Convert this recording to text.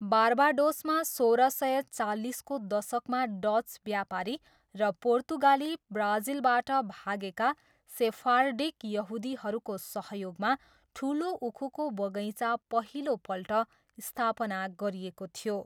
बार्बाडोसमा सोह्र सय चालिसको दशकमा डच व्यापारी र पोर्तुगाली ब्राजिलबाट भागेका सेफार्डिक यहुदीहरूको सहयोगमा ठुलो उखुको बगैँचा पहिलोपल्ट स्थापना गरिएको थियो।